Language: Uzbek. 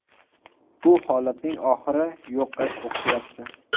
Bu holatning oxiri yo‘qqa o‘xshayapti.